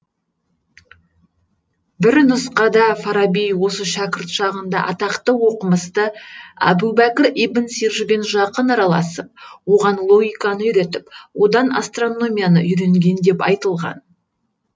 бір нұсқада фараби осы шәкірт шағында атақты оқымысты абубәкір ибн сиржбен жақын араласып оған логиканы үйретіп одан астрономияны үйренген деп айтылған